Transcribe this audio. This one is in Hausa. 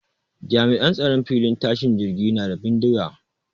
Jami'an tsaron filin tashin jirgin na da bindiga